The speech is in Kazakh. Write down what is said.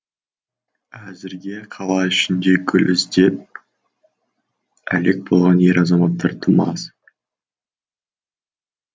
әзірге қала ішінде гүл іздеп әлек болған ер азаматтар тым аз